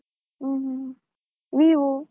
Hmm hmm, Vivo .